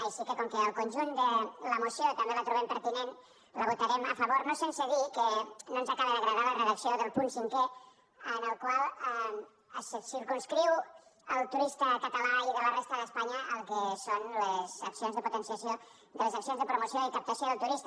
així que com que el conjunt de la moció també el trobem pertinent la votarem a favor no sense dir que no ens acaba d’agradar la redacció del punt cinquè en el qual se circumscriuen al turista català i de la resta d’espanya el que són les accions de potenciació les accions de promoció i captació del turista